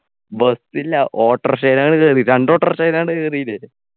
bus ഇല്ല auto rickshaw അങ്ങട് കേറി രണ്ടു auto rickshaw ൽ എങ്ങാണ്ട് കേറീലെ